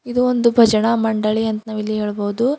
ಇದು ಒಂದು ಭಜನಾ ಮಂಡಳಿ ಅಂತ ನಾವಿಲ್ಲಿ ಹೇಳಬಹುದು.